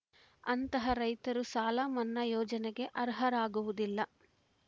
ಅಂತಹ ರೈತರು ಸಾಲ ಮನ್ನಾ ಯೋಜನೆಗೆ ಅರ್ಹರಾಗುವುದಿಲ್ಲ